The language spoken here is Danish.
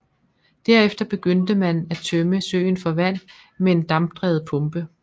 Derefter begyndte man en at tømme søen for vand med en dampdrevet pumpe